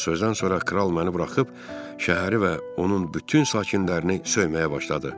Bu sözdən sonra kral məni buraxıb şəhəri və onun bütün sakinlərini söyməyə başladı.